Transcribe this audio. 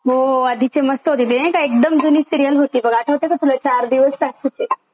हो हो, आधीचे मस्त होती. ती नाय का एकदम जुनी सिरियल होती बघ आठवत का तुला चार दिवस सासूचे.